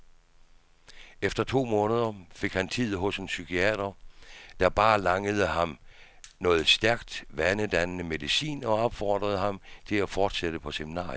Efter to måneder fik han tid hos en psykiater, der bare langede ham noget stærkt, vanedannende medicin, og opfordrede ham til at fortsætte på seminariet.